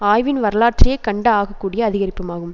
ஆய்வின் வரலாற்றிலேயே கண்ட ஆக கூடிய அதிகரிப்புமாகும்